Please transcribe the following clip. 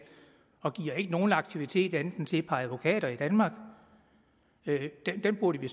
og giver ikke nogen anden aktivitet end til et par advokater i danmark den burde vi